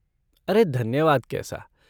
अरे धन्यवाद कैसा!